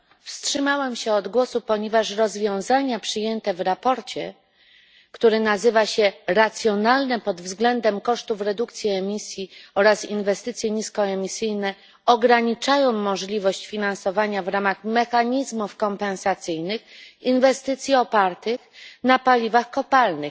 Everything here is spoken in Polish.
Wstrzymałam się od głosu, ponieważ rozwiązania przyjęte w sprawozdaniu, które nazywa się racjonalne pod względem kosztów redukcji emisji oraz inwestycje niskoemisyjne, ograniczają możliwość finansowania w ramach mechanizmów kompensacyjnych inwestycji opartych na paliwach kopalnych,